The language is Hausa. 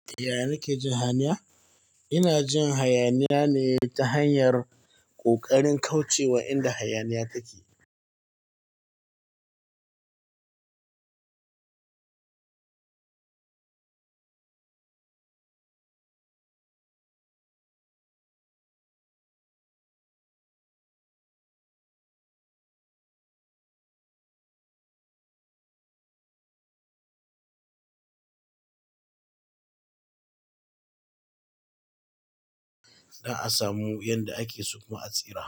Yaya nake jin hayaniya? Ina jin hayaniya ne ta hanyar ƙoƙarin kauce wa inda hayaniya take. Na samu yadda ake so a tsira.